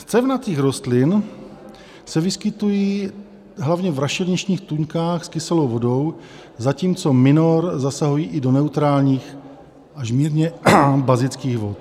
Z cévnatých rostlin se vyskytují hlavně v rašeliništních tůňkách s kyselou vodou, zatímco minor zasahují i do neutrálních až mírně bazických vod.